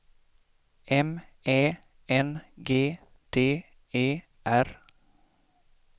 M Ä N G D E R